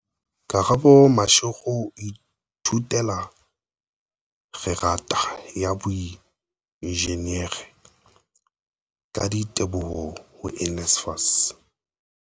Karabo Mashego o ithutela kgerata ya boenjinere, ka diteboho ho NSFAS.